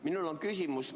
Minul on küsimus.